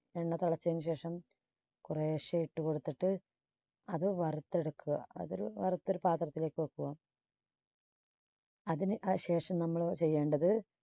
എണ്ണ തിളച്ചതിന് ശേഷം കൊറെശ്ശേ ഇട്ട് കൊടുത്തിട്ട് അത് വറുത്തെടുക്കുക. അതൊരു വറുത്തൊരു പാത്രത്തിലേക്ക് വെക്കുക. അതിന് ശേഷം നമ്മള് ചെയ്യേണ്ടത്